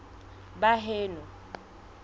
baheno